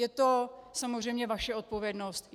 Je to samozřejmě vaše odpovědnost.